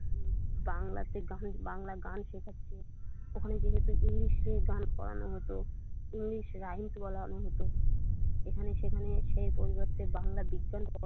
বাংলা গান শেখাচ্ছে ওখানে যে যত ইংলিশে গান করানো হতো ইংলিশ রাইট বলানো হতো এখানে সেখানে সেই পরিবর্তে বাংলার ।